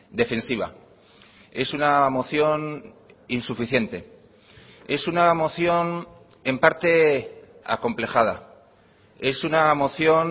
defensiva es una moción insuficiente es una moción en parte acomplejada es una moción